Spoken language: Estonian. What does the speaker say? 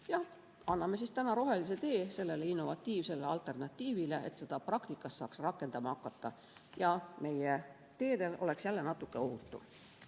Jah, anname täna rohelise tee sellele innovatiivsele alternatiivile, et seda saaks praktikas rakendama hakata ja meie teedel oleks jälle natuke ohutum.